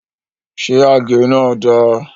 Ṣé àgé náà da?